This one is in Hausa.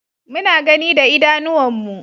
Muna gani da idanuwan mu